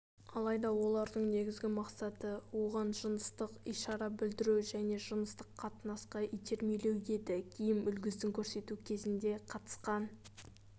алайда олардың негізгі мақсаты оған жыныстық ишара білдіру және жыныстық қатынасқа итермелеу еді киім үлгісін көрсету кезінде қатысқан